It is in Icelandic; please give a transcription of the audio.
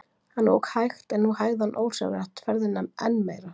Hann ók hægt en nú hægði hann ósjálfrátt ferðina enn meira.